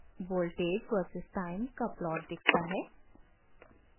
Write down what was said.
voltage versus time का plot दिखता है